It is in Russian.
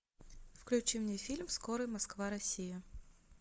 включи мне фильм скорый москва россия